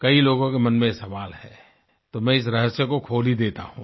कई लोगों के मन में ये सवाल है तो मैं इस रहस्य को खोल ही देता हूँ